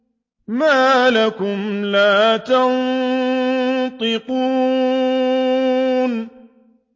مَا لَكُمْ لَا تَنطِقُونَ